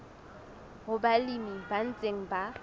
ho balemi ba ntseng ba